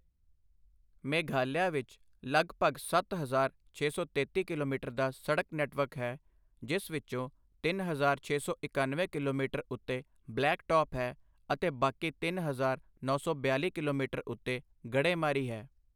ਮੇਘਾਲਿਆ ਵਿੱਚ ਲਗਭਗ ਸੱਤ ਹਜ਼ਾਰ, ਛੇ ਸੌ ਤੇਤੀ ਕਿਲੋਮੀਟਰ ਦਾ ਸੜਕ ਨੈੱਟਵਰਕ ਹੈ, ਜਿਸ ਵਿੱਚੋਂ ਤਿੰਨ ਹਜ਼ਾਰ, ਛੇ ਸੌ ਇਕੱਨਵੇਂ ਕਿਲੋਮੀਟਰ ਉੱਤੇ ਬਲੈਕ ਟੌਪ ਹੈ ਅਤੇ ਬਾਕੀ ਤਿੰਨ ਹਜ਼ਾਰ, ਨੌ ਸੌ ਬਿਆਲ਼ੀ ਕਿਲੋਮੀਟਰ ਉੱਤੇ ਗੜ੍ਹੇਮਾਰੀ ਹੈ।